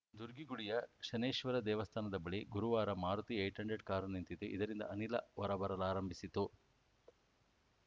ದುರ್ಗಿಗುಡಿಯ ಶನೈಶ್ಚರ ದೇವಸ್ಥಾನದ ಬಳಿ ಗುರುವಾರ ಮಾರುತಿ ಏಟ್ ಹಂಡ್ರೆಡ್ ಕಾರು ನಿಂತಿದ್ದು ಇದರಿಂದ ಅನಿಲ ಹೊರ ಬರಲಾರಂಭಿಸಿತ್ತು